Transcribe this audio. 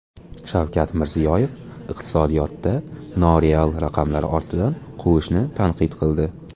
Shavkat Mirziyoyev iqtisodiyotda noreal raqamlar ortidan quvishni tanqid qildi.